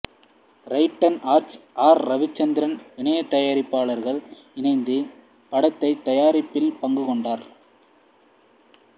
டிரைடன் Arts R Raveendran இணைத்தயாரிப்பாளரக இணைந்து படத்தை தயாரிப்பில் பங்கு கொண்டார்